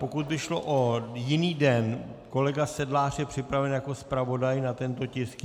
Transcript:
Pokud by šlo o jiný den, kolega Sedlář je připraven jako zpravodaj na tento tisk?